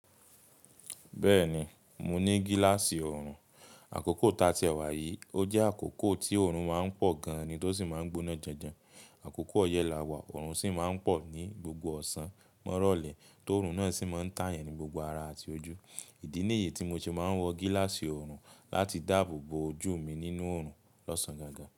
Bẹ́ẹ̀ni, mo ní gíláàsì ọrùn. Àkókò tá tí è wà yìí, ó jẹ́ àkókò tí ọrùn máa ń pọ̀ gan an ni tó sì máa ń gbóná janjan. Àkókò ọyẹ́ làwà ọrùn sì máa ń pọ̀ ní gbogbo ọ̀sán. Mọ́rọ̀lẹ̀ tó ọrùn náà sì máa ń tà yan ní gbogbo ara àti ojú. Ìdí nìyí tí mo ṣe máa ń wọ gíláàsì ọrùn láti dàbò bo ojú mi nínú ọrùn lọ́sàn-án gangan.